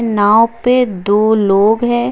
नाव पे दो लोग है।